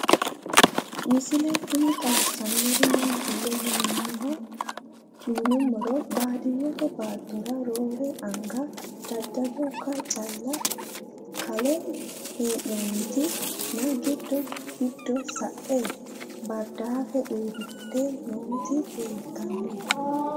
Misile tini xawisannori maattiya yinummoro baadiyeette baattora roorre anga daadakko calla kalle hee'noonnitti nna giddo giddo sae baaridaaffe uuritte nootti leelittanno